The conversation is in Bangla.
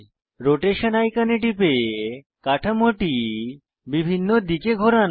রোটেশন আইকনে টিপে কাঠামোটি বিভিন্ন দিকে ঘোরান